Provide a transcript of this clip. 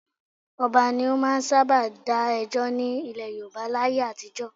Ọba ni ó máa ń sábà dá ẹjọ́ ní ilẹ̀ Yorùbá láyé àtijọ́